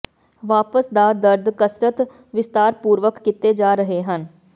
ਵਾਪਸ ਦਾ ਦਰਦ ਕਸਰਤ ਵਿਸਤਾਰਪੂਰਵਕ ਕੀਤੇ ਜਾ ਰਹੇ ਹਨ